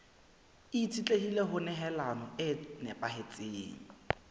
itshetlehile ho nehelano e nepahetseng